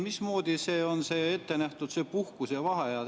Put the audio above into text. Mismoodi see on ette nähtud – puhkus ja vaheajad?